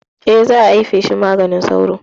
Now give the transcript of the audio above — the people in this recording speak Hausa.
Eh, za ayi feshin maganin sauro